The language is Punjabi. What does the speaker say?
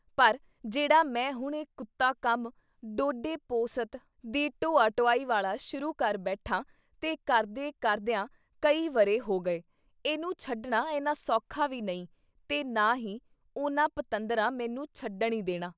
ਪਰ ਜਿਹੜਾ ਮੈਂ ਹੁਣ ਇਹ ਕੁੱਤਾ ਕੰਮ ਡੋਡੇ ਪੋਸਤ ਦੀ ਢੋਆ - ਢੁਆਈ ਵਾਲਾ ਸ਼ੁਰੂ ਕਰ ਬੈਠਾਂ ਤੇ ਕਰਦੇ ਕਰਦਿਆਂ ਕਈ ਵਰ੍ਹੇ ਹੋ ਗਏ, ਇਹਨੂੰ ਛੱਡਣਾ ਇੰਨਾ ਸੌਖਾ ਵੀ ਨਹੀਂ ਤੇ ਨਾ ਹੀ ਉਨ੍ਹਾਂ ਪਤੰਦਰਾਂ ਮੈਨੂੰ ਛੱਡਣ ਈ ਦੇਣਾ।